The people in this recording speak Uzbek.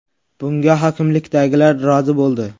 Bunga hokimlikdagilar rozi bo‘ldi.